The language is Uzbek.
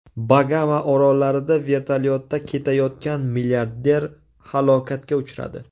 Bagama orollarida vertolyotda ketayotgan milliarder halokatga uchradi.